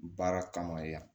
Baara kama ya